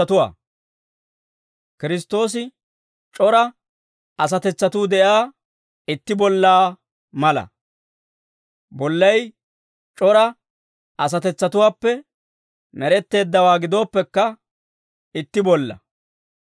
Kiristtoosi c'ora asatetsatuu de'iyaa itti bollaa mala. Bollay c'ora asatetsatuwaappe med'etteeddawaa gidooppekka, itti bollaa.